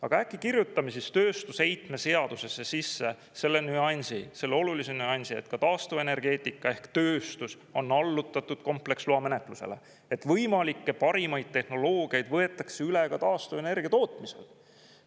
Aga äkki kirjutamise siis tööstusheitme seadusesse sisse selle nüansi, selle olulise nüansi, et ka taastuvenergeetika ehk tööstus on allutatud kompleksloa menetlusele, et võimalikke parimaid tehnoloogiaid võetakse üle taastuvenergia tootmisel?